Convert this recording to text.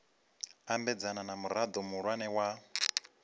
ambedzana na murao muhulwane wa